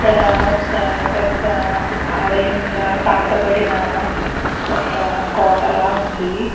ఇక్కడ ఒక పెద్ద ఆలయం ల పాతపడిన ఒక కోట లాగా ఉంది.